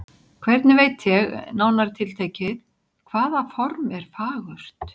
Hvernig veit ég, nánar tiltekið, hvaða form er fagurt?